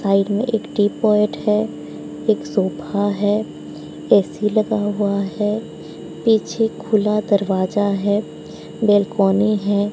Side में एक teapot है एक सोफा है ए_सी लगा हुआ है पीछे खुला दरवाजा है बेलकोनी है।